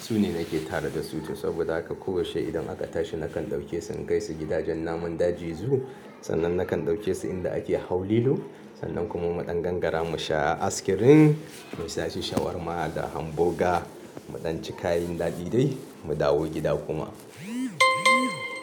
Su ne nake tare da su to saboda haka ko washe idan aka tashi nakan ɗauke su na kaisu gidajen namun daji Zoo, sannan nakan ɗauke su inda ake hau lilo, sannan kuma muɗan gangara mu sha askirim, mu sashi shawarma da hamboga, muɗan ci kayan daɗi dai mu dawo gida kuma.